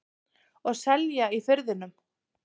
Og selja í Firðinum.